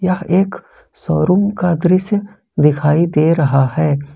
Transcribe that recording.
यह एक शोरूम का दृश्य दिखाई दे रहा है।